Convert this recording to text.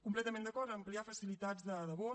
completament d’acord a ampliar facilitats de vot